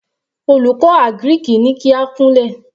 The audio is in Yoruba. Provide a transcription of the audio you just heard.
Olùkọ́ àgíríkì ní kí á kúnlẹ̀.